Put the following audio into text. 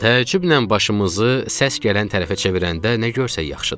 Təəccüblə başımızı səs gələn tərəfə çevirəndə nə görsək yaxşıdır?